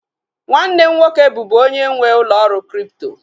Nwanne m nwoke bụbu onye nwee ụlọ ọrụ kripto